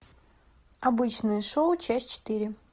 обычное шоу часть четыре